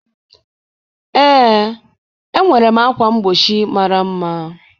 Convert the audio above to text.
Ee, enwere m ákwà mgbochi mara mma